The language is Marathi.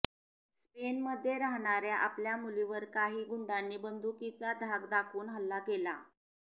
स्पेनमध्ये राहणाऱया आपल्या मुलीवर काही गुंडांनी बंदुकीचा धाक दाखवून हल्ला केला